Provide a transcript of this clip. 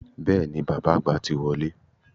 Bẹ́ẹ̀ni, bàbá àgbà ti wọlé